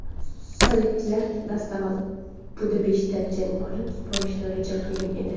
Salibchilar dastavval Budapeshtda jang olib borishni reja qilgan edi.